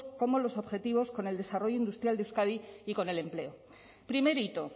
como los objetivos con el desarrollo industrial de euskadi y con el empleo primer hito